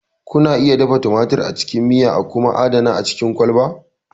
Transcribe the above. Kuna iya dafa tumatir a cikin miya a kuma adana a cikin kwalba.